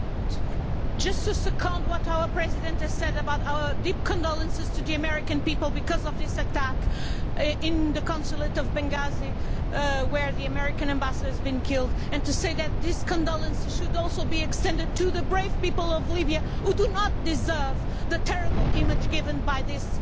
Mr President, I should just like to second what our President has said about our deep condolences to the American people because of this attack on the Consulate in Benghazi, where the American Ambassador has been killed, and to say that these condolences should also be extended to the brave people of Libya who do not deserve the terrible image given by this